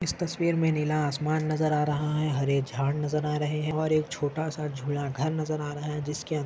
इस तस्वीर मे हमे नीला आसमान नजर आ रहा है हरे झाड नजर आ रहे है और एक छोटा सा जूना घर नजर आ रहा है जिसके अंदा--